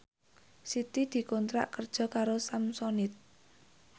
Siti dikontrak kerja karo Samsonite